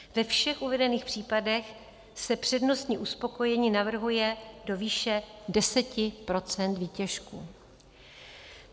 Ve všech uvedených případech se přednostní uspokojení navrhuje do výše 10 % výtěžku.